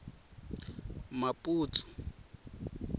maputsu